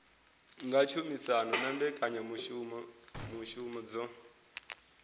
nga tshumisano na mbekanyamushumo dzo